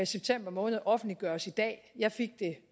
september måned offentliggøres i dag jeg fik det